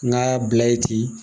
Ŋ'a bila ye ten